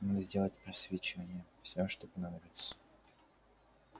надо сделать просвечивание все что понадобится